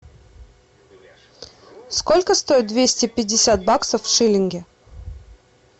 сколько стоит двести пятьдесят баксов в шиллинги